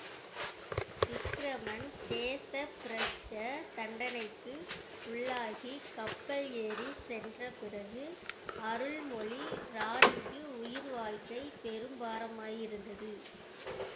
விக்கிரமன் தேச பிரஷ்ட தண்டனைக்கு உள்ளாகிக் கப்பல் ஏறிச் சென்ற பிறகு அருள்மொழி ராணிக்கு உயிர் வாழ்க்கை பெரும் பாரமாயிருந்தது